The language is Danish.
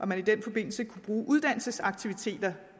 man i den forbindelse kunne bruge uddannelsesaktiviteter